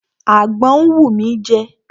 Àgbọn ń wù mí jẹ.